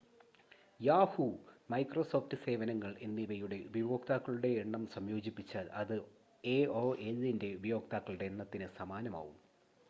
Yahoo Microsoft സേവനങ്ങൾ എന്നിവയുടെ ഉപയോക്താക്കളുടെ എണ്ണം സംയോജിപ്പിച്ചാൽ അത് എഒഎല്ലിൻ്റെ ഉപയോക്താക്കളുടെ എണ്ണത്തിന് സമാനമാവും